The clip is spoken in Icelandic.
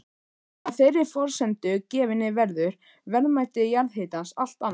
Að þeirri forsendu gefinni verður verðmæti jarðhitans allt annað.